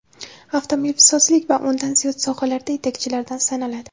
avtomobilsozlik va o‘ndan ziyod sohalarda yetakchilardan sanaladi.